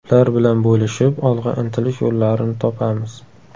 Ular bilan bo‘lishib, olg‘a intilish yo‘llarini topamiz.